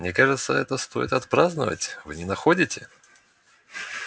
мне кажется это стоит отпраздновать вы не находите